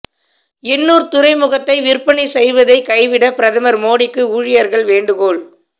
எண்ணூர் துறைமுகத்தை விற்பனை செய்வதை கைவிட பிரதமர் மோடிக்கு ஊழியர்கள் வேண்டுகோள்